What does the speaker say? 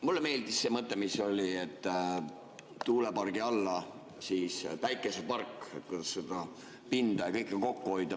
Mulle meeldis see mõte, et tuulepargi alla päikesepark – nii saab pinda ja kõike kokku hoida.